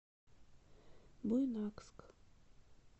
буйнакск